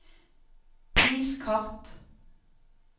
vis kart